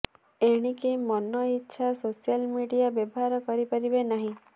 ଏଣିକି ମନ ଇଚ୍ଛୋ ସୋସିଆଲ ମିଡିଆ ବ୍ୟବହାର କରିପାରିବେ ନାହିଁ